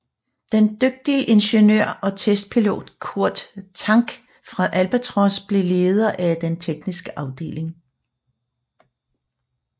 Den dygtige ingeniør og testpilot Kurt Tank fra Albatros blev leder af den tekniske afdeling